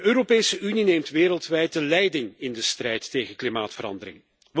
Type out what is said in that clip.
De Europese Unie neemt wereldwijd de leiding in de strijd tegen klimaatverandering.